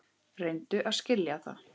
Reyndu að skilja það!